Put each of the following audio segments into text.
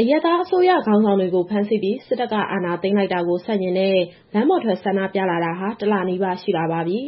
အရပ်သားအစိုးရခေါင်းဆောင်တွေကို ဖမ်းဆီးပြီး စစ်တပ်က အာဏာသိမ်းလိုက်တာကို ဆန့်ကျင်တဲ့ လမ်းပေါ်ထွက်ဆန္ဒပြလာတာဟာ တလနီးပါးရှိလာပါပြီ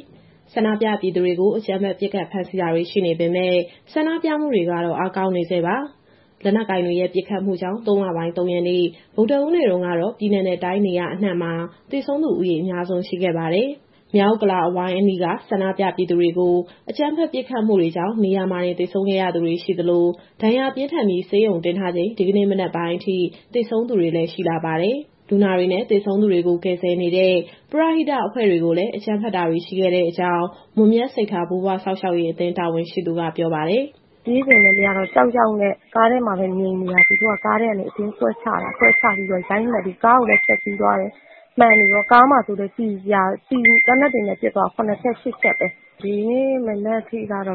။ ဆန္ဒပြပြည်သူတွေကို အကြမ်းဖက်ပစ်ခတ် ဖမ်းဆီးတာတွေ ရှိနေပေမဲ့ ဆန္ဒပြမှုတွေကတော့ အားကောင်းနေဆဲပါ။ လက်နက်ကိုင်တွေရဲ့ ပစ်ခတ်မှုကြောင့် ၃ လပိုင်း၊ ၃ ရက်နေ့ ဗုဒ္ဓဟူးနေ့တုန်းကတော့ ပြည်နယ်နဲ့တိုင်း နေရာအနှံ့မှာ သေဆုံးသူဦးရေ အများဆုံးရှိခဲ့ပါတယ်။ မြောက်ဥက္ကလာ အဝိုင်းအနီးက ဆန္ဒပြပြည်သူတွေကို အကြမ်းဖက်ပစ်ခတ်မှုတွေကြောင့် နေရာမှာတင်သေဆုံးခဲ့ရသူတွေ ရှိသလို၊ ဒဏ်ရာပြင်းထန်ပြီး ဆေးရုံတင်ထားချိန် ဒီကနေ့မနက်ပိုင်းအထိ သေဆုံးသူတွေလည်း ရှိလာပါတယ်။ လူနာတွေနဲ့ သေဆုံးသူတွေကို ကယ်ဆယ်နေတဲ့ ပရဟိတအဖွဲ့တွေကိုလည်း အကြမ်းဖက်တာတွေ ရှိခဲ့တဲ့အကြောင်း မွန်မြတ်စိတ်ထား ဘိုးဘွားစောင့်ရှောက်ရေးအသင်း တာဝန်ရှိသူက ပြောပါတယ်။ "ပြေးချိန်လည်း မရတော့ ကြောက်ကြောက်နဲ့ ကားထဲမှာပဲငြိမ်နေတာ။ သူတို့က ကားထဲကနေ အတင်းဆွဲချပြီးတော့ ရိုက်နှက်ပြီး ကားကိုလည်း ဖျက်စီးသွားတယ်။ ကားကိုလည်း သေနတ်တွေနဲ့ ပစ်သွားတာ ၇ ချက်၊ ၈ ချက်ပဲ။ သေဆုံးသူက ဒီနေ့မနက်ထိကတော့ ၃၅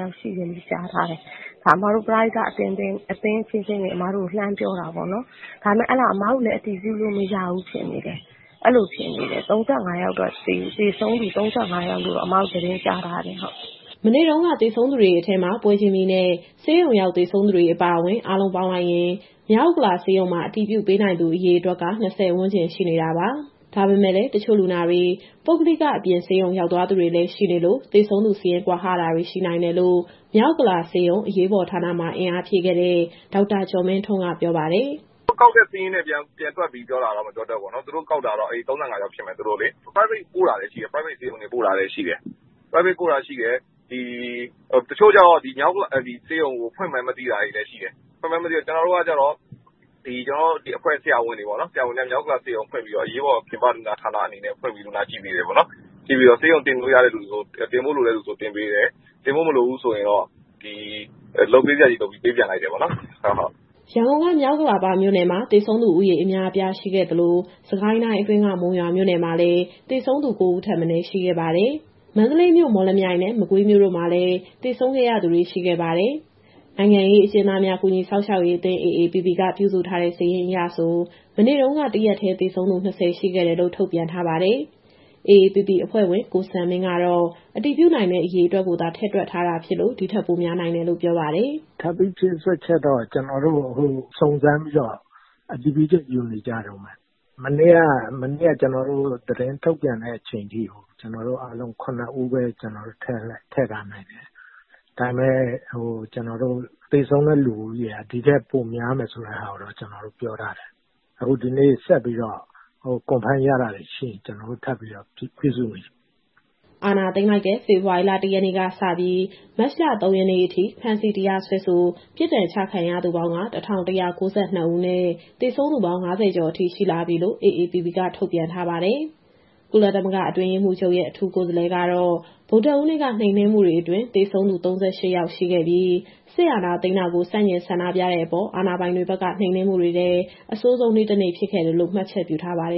ယောက်ရှိတယ်လို့ ကြားထားတယ်။ ဒါ ပရဟိတအသင်းအချင်းချင်း အမတို့ကို လှမ်းပြောတာပေါ့နော်။ ဒါပေမဲ့ အဲဒါ အစ်မတို့လည်း အတည်ပြုလို့မရဘူး ဖြစ်နေတယ်။ သေဆုံးသူ ၃၅ ယောက်လို့တော့ အစ်မတို့ သတင်းကြားထားတယ်။" မနေ့တုန်းက သေဆုံးသူတွေအထဲမှာ ပွဲချင်းပြီးနဲ့ ဆေးရုံရောက်သေဆုံးသူတွေ အပါအဝင်၊ အားလုံးပေါင်းလိုက်ရင် မြောက်ဥက္ကလာဆေးရုံမှာ အတည်ပြုပေးနိုင်သူအရေအတွက်က ၂၀ ဝန်းကျင်ရှိနေတာပါ။ ဒါပေမဲ့လည်း တချို့လူနာတွေ ပုဂ္ဂလိက အပြင်ဆေးရုံရောက်သွားသူတွေလည်း ရှိနေလို့ သေဆုံးသူစာရင်း ကွာဟတာတွေရှိနိုင်တယ်လို့ မြောက်ဥက္ကလာဆေးရုံ၊ အရေးပေါ်ဌာနမှာ အင်အားဖြည့်ခဲ့တဲ့ ဒေါက်တာကျော်မင်းထွန်းက ပြောပါတယ်။ "သူတို့ကောက်တဲ့ စာရင်းနဲ့ ပြန်တွက်ပြီးပြောတာလားတော့ မပြောတတ်ဘူးပေါ့နော်။ သူတို့ကောက်တာကတော့ ၃၅ ယောက်ဖြစ်မယ်။ ပုဂ္ဂလိကဆေးရုံ ပို့တာလည်း ရှိတယ်။ တချို့ကျတော့ ဒီမြောက်ဥက္ကလာဆေးရုံကို ဖွင့်မှန်းမသိတာလည်း ရှိတယ်။ ကျနော်တို့ အဖွဲ့ဆရာဝန်တွေ မြောက်ဥက္ကလာဆေးရုံကို ဖွင့်ပြီးတော့ အရေးပေါ်ပြင်ပဌာန ဖွင့်ပြီးတော့ လူနာကြည့်ပေးတယ်ပေါ့။ ဆေးရုံတင်ဖို့လိုတဲ့သူဆို တင်ပေးတယ်။ တင်ပေးစရာမလိုတဲ့သူဆိုရင်တော့ လုပ်ပေးစရာရှိတာ လုပ်ပေးပြီး ပေးပြန်လိုက်တယ်။" ရန်ကုန်က မြောက်ဥက္ကလာပမြို့နယ်မှာ သေဆုံးသူဦးရေ အများအပြားရှိခဲ့သလို၊ စစ်ကိုင်းတိုင်းအတွင်းက မုံရွာမြို့မှာလည်း သေဆုံးသူ ၉ ဦးထက်မနည်း ရှိခဲ့ပါတယ်။ မန္တလေးမြို့၊ မော်လမြိုင်နဲ့ မကွေးမြို့တို့မှာလည်း သေဆုံးခဲ့ရသူတွေ ရှိခဲ့ပါတယ်။ နိုင်ငံရေးအကျဉ်းသားများ ကူညီစောင့်ရှောက်ရေးအသင်း (AAPP) က ပြုစုထားတဲ့စာရင်းအရဆို မနေ့တုန်းက တရက်တည်းသေဆုံးသူ ၂၀ ရှိခဲ့တယ်လို့ ထုတ်ပြန်ထားပါတယ်။ AAPP အဖွဲ့ဝင် ကိုစံမင်းကတော့ အတည်ပြုနိုင်တဲ့ အရေအတွက်ကိုသာ ထည့်တွက်ထားတာဖြစ်လို့ ဒီထက်ပိုများနိုင်တယ်လို့ ပြောပါတယ်။ "ထပ်ပြီးဖြည့်စွက်ချက်တော့ ကျနော်တို့အခု စုံစမ်းပြီးတော့ အတည်ပြုချက်ယူနေကြတုန်းပဲ။ မနေ့က ကျနော်တို့ သတင်းထုတ်ပြန်တဲ့အချိန်အထိ ၇ ဦးပဲ ထည့်ထားနိုင်တယ်။ ဒါပေမဲ့ သေဆုံးတဲ့လူဦးရေဟာ ဒီထက်ပိုများတဲ့ဆိုတာကိုတော့ ကျနော်တို့ပြောထားတယ်။ ဆိုတော့ အခုဒီနေ့ ဆက်ပြီးတော့ အတည်ပြုလို့ရတာတွေ ရှိရင် ထပ်ပြီးတော့ စာရင်းပြုစုနေတယ်။" အာဏာသိမ်းလိုက်တဲ့ ဖေဖော်ဝါရီလ ၁ ရက်နေ့ကစပြီး မတ်လ ၃ ရက်နေ့အထိ ဖမ်းဆီး၊ တရားစွဲဆို၊ ပြစ်ဒဏ်ချခံရသူပေါင်းက ၁,၁၉၂ ဦးနဲ့ သေဆုံးသူပေါင်း ၅၀ ကျော်အထိ ရှိလာပြီလို့ AAPP က ထုတ်ပြန်ထားပါတယ်။ ကုလသမဂ္ဂ အတွင်းရေးမှူးချုပ်ရဲ့ အထူးကိုယ်စားလှယ်ကတော့ ဗုဒ္ဓဟူးနေ့က နှိမ်နင်းမှုတွေအတွင်း သေဆုံးသူ ၃၈ ယောက်ရှိပြီး၊ စစ်အာဏာသိမ်းတာကို ဆန့်ကျင်ဆန္ဒပြတဲ့အပေါ်အာဏာပိုင်တွေဘက်က နှိမ်နင်းမှုတွေထဲ အဆိုးဆုံးနေ့ တနေ့ဖြစ်ခဲ့တယ်လို့ မှတ်ချက်ပြုထားပါတယ်